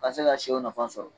A ka se ka sɛw nafan sɔrɔ